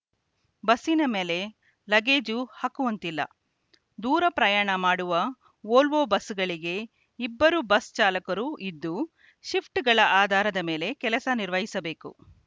ಬಸ್ಸಿನ ಮೇಲೆ ಲಗೇಜು ಹಾಕುವಂತಿಲ್ಲ ದೂರ ಪ್ರಯಾಣ ಮಾಡುವ ವೋಲ್ವೊ ಬಸ್‌ಗಳಿಗೆ ಇಬ್ಬರು ಬಸ್‌ ಚಾಲಕರು ಇದ್ದು ಶಿಫ್ಟ್‌ಗಳ ಆಧಾರದ ಮೇಲೆ ಕೆಲಸ ನಿರ್ವಹಿಸಬೇಕು